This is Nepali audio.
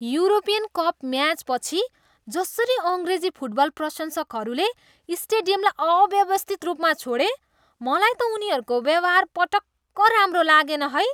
युरोपियन कप म्याचपछि जसरी अङ्ग्रेजी फुटबल प्रशंसकहरूले स्टेडियमलाई अव्यवस्थित रूपमा छोडे, मलाई त उनीहरूको व्यवहार पटक्क राम्रो लागेन है।